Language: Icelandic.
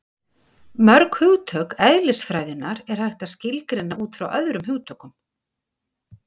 mörg hugtök eðlisfræðinnar er hægt að skilgreina út frá öðrum hugtökum